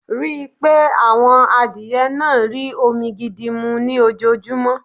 Rii pé àwọn adìye náà rí omi gidi mú ní ojoojúmọ́